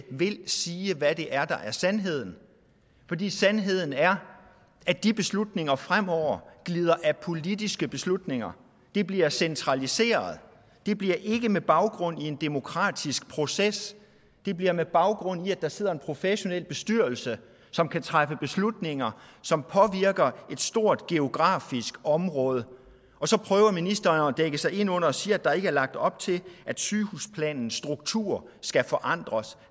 vil sige hvad det er der er sandheden fordi sandheden er at de beslutninger fremover glider af politiske beslutninger det bliver centraliseret og det bliver ikke med baggrund i en demokratisk proces det bliver med baggrund i at der sidder en professionel bestyrelse som kan træffe beslutninger som påvirker et stort geografisk område og så prøver ministeren at dække sig ind ved at sige at der ikke er lagt op til at sygehusplanens struktur skal forandres